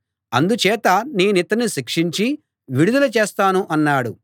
అందుచేత నేనితణ్ణి శిక్షించి విడుదల చేస్తాను అన్నాడు